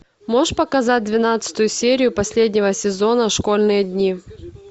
можешь показать двенадцатую серию последнего сезона школьные дни